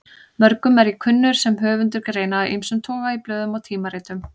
Mörgum er ég kunnur sem höfundur greina af ýmsum toga í blöðum og tímaritum.